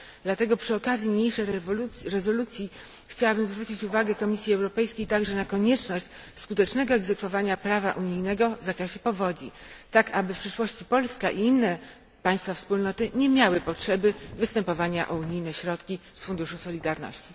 Dlatego przy okazji niniejszej rezolucji chciałabym zwrócić uwagę Komisji Europejskiej także na konieczność skutecznego egzekwowania prawa unijnego w zakresie powodzi, tak aby w przyszłości Polska i inne państwa Wspólnoty nie miały potrzeby występowania o unijne środki z Funduszu Solidarności.